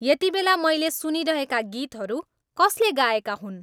यतिबेला मैले सुनिरहेका गीतहरू कसले गाएका हुन्